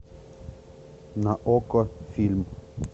на окко фильм